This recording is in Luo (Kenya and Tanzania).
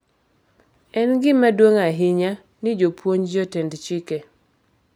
En gima duong’ ahinya ni jopuonj, jotend chike,